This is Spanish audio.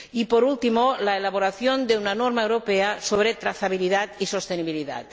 Y, por último, la elaboración de una norma europea sobre trazabilidad y sostenibilidad.